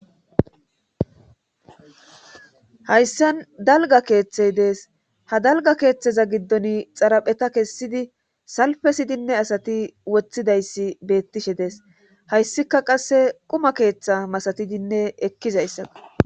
Hayssan dalga keeththey dees ha dalga keeththeza giddon xarapheta kessidi salfesidinne asati woththidayssi beettishe dees hayssika qasse quma keeththa masatidinne ekkizayssaa.